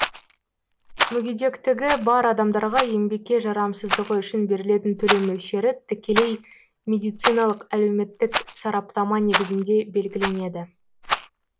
мүгедектігі бар адамдарға еңбекке жарамсыздығы үшін берілетін төлем мөлшері тікелей медициналық әлеуметтік сараптама негізінде белгіленеді